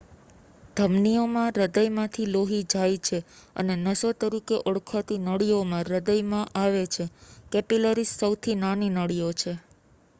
ધમનીઓ માં હૃદયમાંથી લોહી જાય છે અને નસો તરીકે ઓળખાતી નળીઓમાં હૃદયમાં આવે છે કેપિલરીઝ સૌથી નાની નળીઓ છે